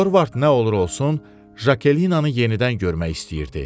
Dorvart nə olur olsun Jakelinnanı yenidən görmək istəyirdi.